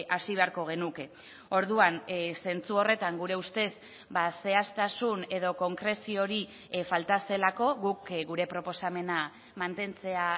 hasi beharko genuke orduan zentzu horretan gure ustez zehaztasun edo konkrezio hori falta zelako guk gure proposamena mantentzea